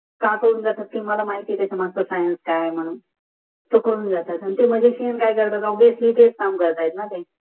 हा मला माहित आहे त्याच्या मागचा फाय्नाद काय आहे मानून